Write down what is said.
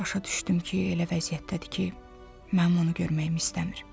Başa düşdüm ki, elə vəziyyətdədir ki, mənim onu görməyimi istəmir.